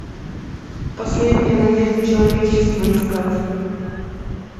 последняя надежда человечества искать